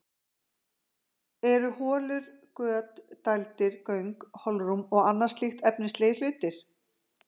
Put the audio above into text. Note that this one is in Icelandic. Eru holur, göt, dældir, göng, holrúm og annað slíkt efnislegir hlutir?